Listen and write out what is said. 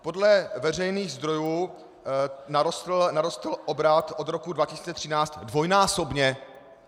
Podle veřejných zdrojů narostl obrat od roku 2013 dvojnásobně.